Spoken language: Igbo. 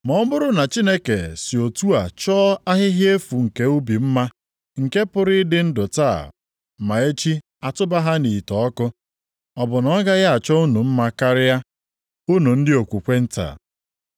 Ma ọ bụrụ na Chineke si otu a chọọ ahịhịa efu nke ubi mma, nke pụrụ ịdị ndụ taa ma echi atụba ha nʼite ọkụ, ọ bụ na ọ gaghị a chọọ unu mma karịa. Unu ndị okwukwe nta?